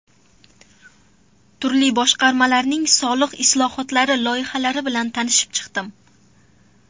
Turli boshqarmalarning soliq islohotlari loyihalari bilan tanishib chiqdim.